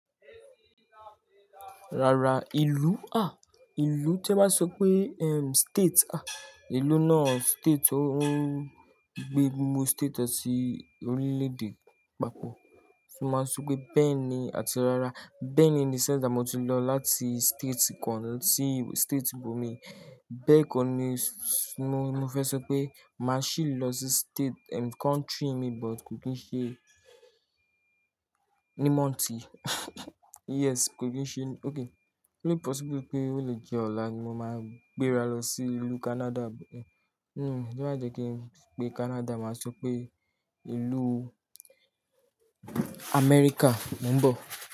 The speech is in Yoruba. Rara, ìlú a, ìlú tí a máa ń sọ pé, eh, state a, ìlú náà state tó ń gbé gbogbo state ọ sí orílẹ̀-èdè papọ̀. Mo máa sọ pé bẹ́ẹ̀ ni, àti rara, bẹ́ẹ̀ ni in the sense that mó ti lọ láti state kan sí state ìbò mi. Bẹ́ẹ̀ kọ́ ni mo fẹ́ sọ pé màá sì lọ sí state, ehm, country mi but kò kí n ṣe ní mònth yi, yes, kò kí n ṣe, okay. Ó le possible pé ó le jẹ́ ọ̀la ni mo máa gbéra lọ sí ìlú Canada. Hm, tí wọ́n ba jẹ́ kí n pe Canada, màá sọ pé ìlú America mò ń bọ̀